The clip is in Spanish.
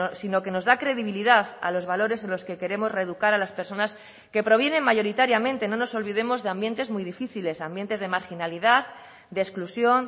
sino que nos da credibilidad a los valores en los que queremos reeducar a las personas que provienen mayoritariamente no nos olvidemos de ambientes muy difíciles ambientes de marginalidad de exclusión